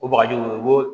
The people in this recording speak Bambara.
O bagajiw i b'o